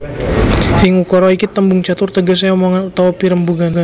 Ing ukara iki tembung catur tegesé omongan utawa pirembugan